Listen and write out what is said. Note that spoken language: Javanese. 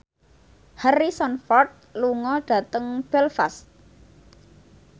Harrison Ford lunga dhateng Belfast